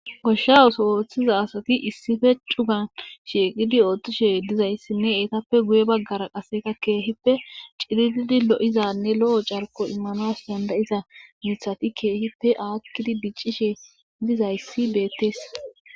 Goshshawuso ooththiza asati issife cugan shiiqidi oothtishe dizayssinne eetappe guye baggara qaseka keehippe cilididi lo'izanne lo'o carko immanoas dandayiza mithati keehippe aakkidi diccishe dizayssi beettees